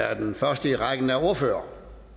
er den første i rækken af ordførere